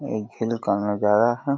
ये खेल का नजारा है।